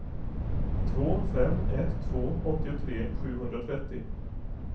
två fem ett två åttiotre sjuhundratrettio